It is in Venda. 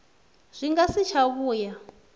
zwi nga si tsha vhuya